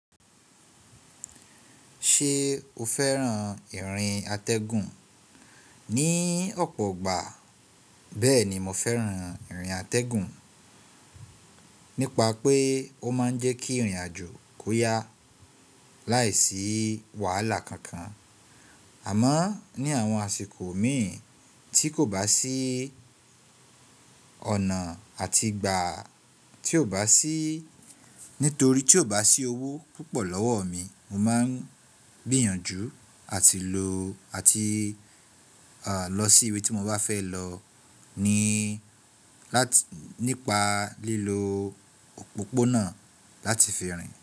Ṣe o fẹ́ran ìrìn atẹ́gùn? Ni ọ̀pọ̀ igbà bẹ́ẹ̀ ni mo fẹ́ran ìrìn atẹ́gùn, nípa pé ó máa ń jẹ́ kí ìrìn àjò kó yá láìsí wàhálà kankan. Àmọ́ ní àwọn àsìkò míì tí kò bá sí ọ̀nà àti ìgbà tí kò bá sí, nítorí tí kò bá sí owó púpọ̀ lọ́wọ́ mi, mo máa ń gbìyànjú àti lọ sí ibi tí mo bá fẹ́ lọ nípa lílo òpópónà láti fi rin.